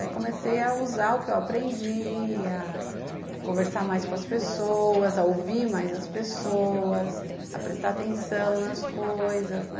Aí comecei a usar o que eu aprendi, a conversar mais com as pessoas, a ouvir mais as pessoas, a prestar atenção nas coisas, né?